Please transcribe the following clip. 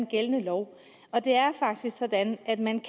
gældende lov og det er faktisk sådan at man